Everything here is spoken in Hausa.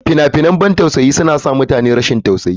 Fina-finan na ban tausayi suna sa mutane su yi rashin tausayi.